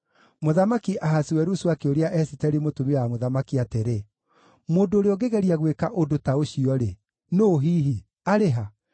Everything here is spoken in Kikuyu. Mũthamaki Ahasuerusu akĩũria Esiteri mũtumia wa mũthamaki atĩrĩ, “Mũndũ ũrĩa ũngĩgeria gwĩka ũndũ ta ũcio-rĩ, nũũ hihi? Arĩ ha?”